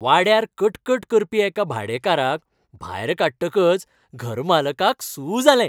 वाड्यार कटकट करपी एका भाडेकाराक भायर काडटकच घरमालकाक सू जालें.